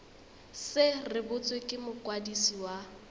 se rebotswe ke mokwadisi wa